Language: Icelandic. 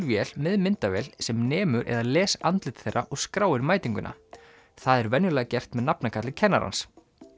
vél með myndavél sem nemur eða les andlit þeirra og skráir mætinguna það er venjulega gert með nafnakalli kennarans